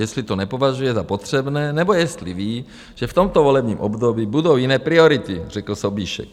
Jestli to nepovažuje za potřebné, nebo jestli ví, že v tomto volebním období budou jiné priority, řekl Sobíšek.